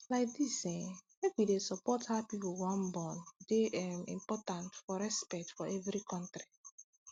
like dis eh make wey dey support how pipu wan born dey um important for respect for every kontri